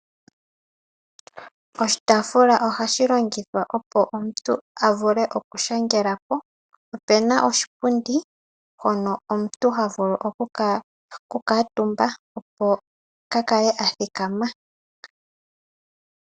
Oshitaafula ohashi longithwa opo omuntu avule oku shangela ko, ohapu kala oshipundi mpono omuntu havulu oku kuutumba opo kaa kale athikama.